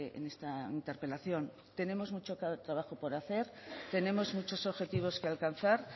en esta interpelación tenemos mucho trabajo por hacer tenemos muchos objetivos que alcanzar